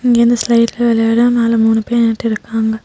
இங்க இருந்து ஸ்லைட்ல விளையாட மேல மூணு பேர் நின்னுட்டு இருக்காங்க.